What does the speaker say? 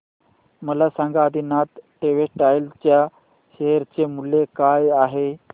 मला सांगा आदिनाथ टेक्स्टटाइल च्या शेअर चे मूल्य काय आहे